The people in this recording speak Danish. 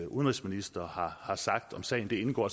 udenrigsministre har sagt om sagen det indgår